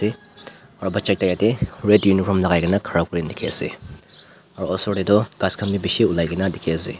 aru bacha ekta yate red uniform lagaikena khara kurina dikhi ase aru osor te toh ghas khan bi bishi ulai kena dikhi ase.